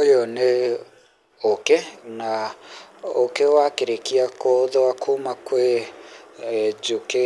Ũyũ nĩ ũkĩ na ũkĩ wakĩrĩkia gũtho kuma kwĩ njũkĩ